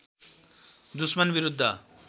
दुस्मन विरुद्ध